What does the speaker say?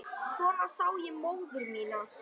Svona sá ég móður mína.